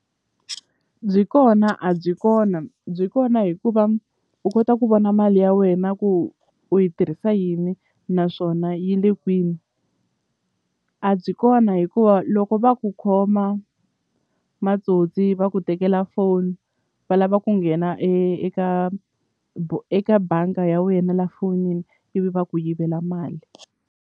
Byi kona a byi kona byi kona hikuva u kota ku vona mali ya wena ku u yi tirhisa yini naswona yi le kwini a byi kona hikuva loko va ku khoma matsotsi va ku tekela foni va lava ku nghena eka eka banga ya wena la fonini ivi va ku yivela mali.